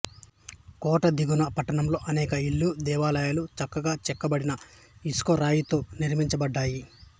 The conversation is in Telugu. కోట దిగువన పట్టణంలో అనేక ఇళ్ళు దేవాలయాలు చక్కగా చెక్కబడిన ఇసుకరాయితో నిర్మించబడ్డాయి